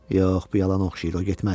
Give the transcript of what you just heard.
Yox, bu yalan oxşayır, o getməz.